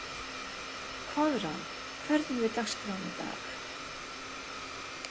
Koðrán, hvernig er dagskráin í dag?